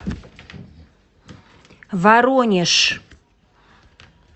воронеж